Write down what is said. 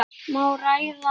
Má ræða hana?